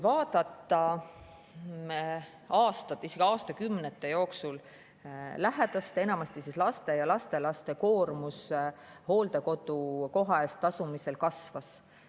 Aastate, isegi aastakümnete jooksul on lähedaste, enamasti laste ja lastelaste koormus hooldekodukoha eest tasumisel kasvanud.